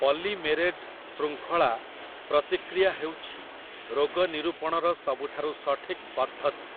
Polymerase ଶୃଙ୍ଖଳା ପ୍ରତିକ୍ରିୟା ହେଉଛି ରୋଗ ନିରୂପଣର ସବୁଠାରୁ ସଠିକ୍ ପଦ୍ଧତି ।